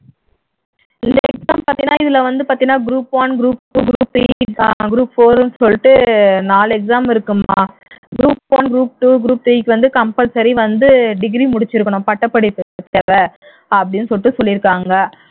exam பார்த்தீன்னா இதுல வந்து பார்த்தீன்னா group one group two group three group four ன்னு சொல்லிட்டு நாலு exam இருக்குமா group one group two group three க்கு வந்து compulsory வந்து degree முடிச்சிருக்கணும் பட்டப்படிப்பு அப்படின்னு சொல்லிட்டு சொல்லிருக்காங்க